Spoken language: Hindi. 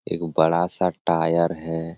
एगो बड़ा-सा टायर है।